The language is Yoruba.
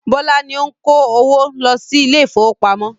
Bọ́lá ni ó ń kó owó lọ sí ilé ìfowópamọ́.